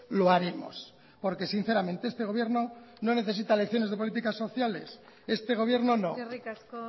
lo haremos porque sinceramente este gobierno no necesita lecciones de políticas socialeseste gobierno no eskerrik asko